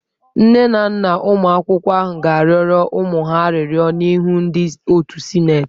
Nne na nna ụmụ akwụkwọ ahụ ga-arịọrọ ụmụ ha arịrịọ n'ihu ndị otu sịnetị.